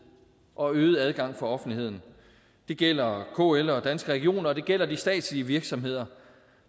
og øget adgang for offentligheden det gælder kl og danske regioner og det gælder de statslige virksomheder